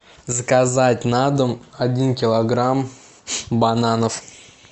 заказать на дом один килограмм бананов